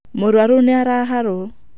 Mũrũaru nĩ araharwo.